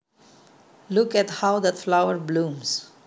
Look at how that flower blooms